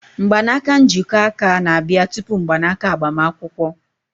Mgbanaka njikọ aka na-abịa tupu mgbanaka agbamakwụkwọ.